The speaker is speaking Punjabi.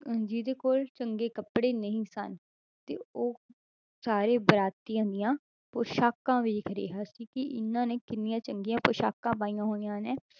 ਅਹ ਜਿਹਦੇ ਕੋਲ ਚੰਗੇ ਕੱਪੜੇ ਨਹੀਂ ਸਨ ਤੇ ਉਹ ਸਾਰੇ ਬਰਾਤੀਆਂ ਦੀਆਂ ਪੁਸ਼ਾਕਾਂ ਵੇਖ ਰਿਹਾ ਸੀ ਕਿ ਇਹਨਾਂ ਨੇ ਕਿੰਨੀਆਂ ਚੰਗੀਆਂ ਪੁਸ਼ਾਕਾਂ ਪਾਈਆਂ ਹੋਈਆਂ ਨੇ,